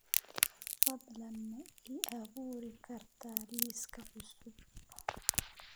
fadlan ma ii abuuri kartaa liis cusub